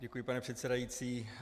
Děkuji, pane předsedající.